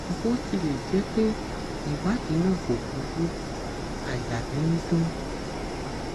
bó tilẹ jẹ pé ìwádìí náà kò burú àyà mi ń dùn